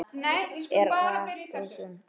Er það allt og sumt?